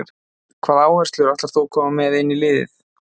Hvaða áherslur ætlar þú koma með inn í liðið?